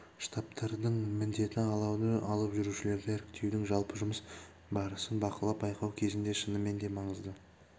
штабтардың міндеті алауды алып жүрушілерді іріктеудің жалпы жұмыс барысын бақылап байқау кезінде шынымен де маңызды